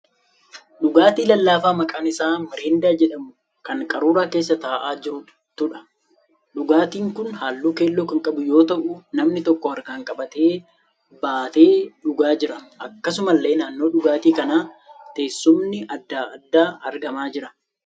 Dhugaatii lallaafaa maqaan isaa 'miriindaa' jedhamu kan qaruuraa keessa ta'aa jirtuudha. Dhugaatiin kun halluu keelloo kan qabu yoo ta'u namni tokko harkaan qabee baatee dhugaa jira. Akkasumallee naannoo dhugaatii kanaa teessumni adda addaa argamaa jira.